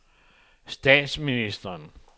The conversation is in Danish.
statsministeren